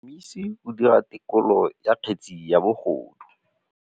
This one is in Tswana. Motlhotlhomisi o dira têkolô ya kgetse ya bogodu.